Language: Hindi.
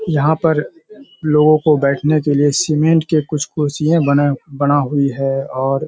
यहाँ पर लोगों को बैठने के लिए सीमेंट के कुछ कुर्सियाे बने बना हुई है और --